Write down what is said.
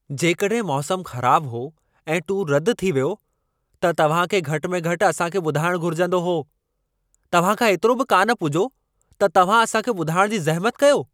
जेकॾहिं मौसम ख़राब हो ऐं टूर रद थी वियो, त तव्हां खे घटि में घटि असां खे ॿुधाइण घुरिजंदो हो। तव्हां खां एतिरो बि कान पुॼो त तव्हां असां खे ॿुधाइण जी ज़हिमत कयो।